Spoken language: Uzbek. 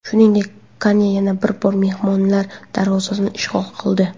Shuningdek, Kunya yana bir bor mehmonlar darvozasini ishg‘ol qildi.